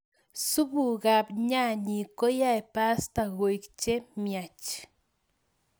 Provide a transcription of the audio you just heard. Supukap nyanyek koyaei pasta koek che miach